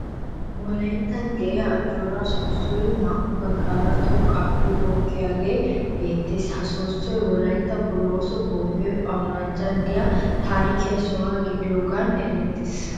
Wolayittan de'iya Ajjooraa soossoyi naa'u baggaara xoqqaappe goggiyagee beettees. Ha soossoy wolayittan bolooso bombbe awurajjan de'iya taarike soho gidiyoogan erettees.